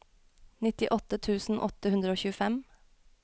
nittiåtte tusen åtte hundre og tjuefem